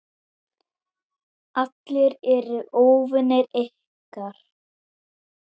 Allir eru óvinir ykkar.